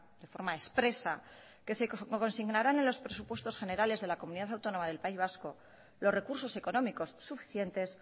de forma expresa que se consignarán en los presupuestos generales de la comunidad autónoma del país vasco los recursos económicos suficientes